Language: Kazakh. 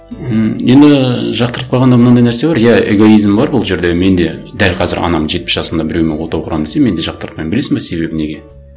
м енді жақтырпағанда мынандай нәрсе бар иә эгоизм бар бұл жерде мен де дәл қазір анам жетпіс жасында біреумен отау құрамын десе мен де жақтыртпаймын білесің бе себебі неге